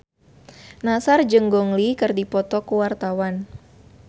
Nassar jeung Gong Li keur dipoto ku wartawan